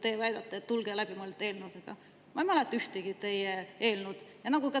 Te ütlete, et tulge läbimõeldud eelnõudega, ma ei mäleta ühtegi sellist teie eelnõu.